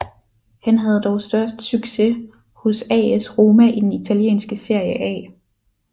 Han havde dog størst succes hos AS Roma i den italienske Serie A